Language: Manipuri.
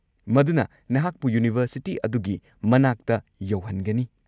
ꯃꯗꯨꯅ ꯅꯍꯥꯛꯄꯨ ꯌꯨꯅꯤꯚꯔꯁꯤꯇꯤ ꯑꯗꯨꯒꯤ ꯃꯅꯥꯛꯇ ꯌꯧꯍꯟꯒꯅꯤ꯫